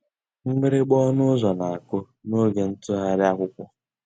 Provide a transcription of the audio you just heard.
Mgbìrìgbà ọnụ́ ụ́zọ̀ ná-àkụ́ n'ògé ntụ́ghàrị́ àkwụ́kwọ́.